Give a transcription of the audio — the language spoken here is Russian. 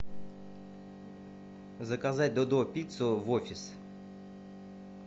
заказать додо пиццу в офис